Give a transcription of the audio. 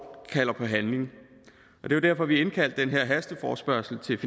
kalder på handling det var derfor vi indkaldte den her hasteforespørgsel